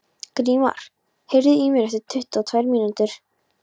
Grímar, heyrðu í mér eftir tuttugu og tvær mínútur.